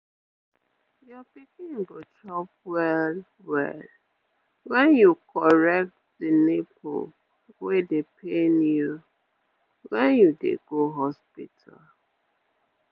your pikin go chop well well wen you correct the nipple wey dey pain you when you dey go hospital